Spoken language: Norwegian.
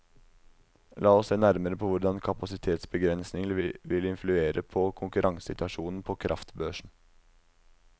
La oss se nærmere på hvordan kapasitetsbegrensninger vil influere på konkurransesituasjonen på kraftbørsen.